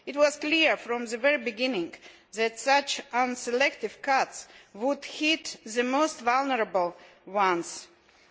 It was clear from the very beginning that such unselective cuts would hit the most vulnerable in society.